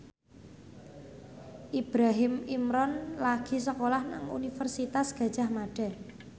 Ibrahim Imran lagi sekolah nang Universitas Gadjah Mada